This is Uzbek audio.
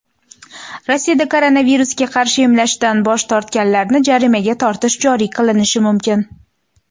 Rossiyada koronavirusga qarshi emlashdan bosh tortganlarni jarimaga tortish joriy qilinishi mumkin.